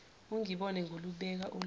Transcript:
ungibone ngilubeka olwami